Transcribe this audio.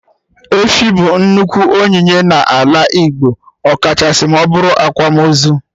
Efi bụ nnukwu onyinye na ala Igbo, ọkachasị ma ọbụrụ akwamozu